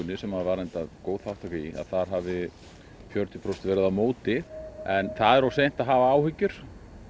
sem var góð þátttaka í hafi fjörutíu prósent verið á móti en það er of seint að hafa áhyggjur